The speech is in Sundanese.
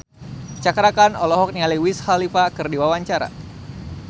Cakra Khan olohok ningali Wiz Khalifa keur diwawancara